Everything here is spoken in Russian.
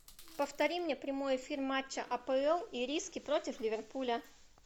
повтори мне прямой эфир матча апл ириски против ливерпуля